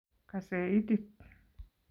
Kosew itit